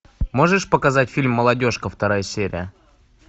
можешь показать фильм молодежка вторая серия